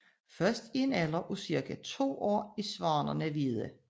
Først i en alder af cirka to år er svanerne hvide